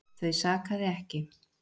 Þau sakaði ekki.